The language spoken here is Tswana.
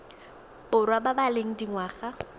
borwa ba ba leng dingwaga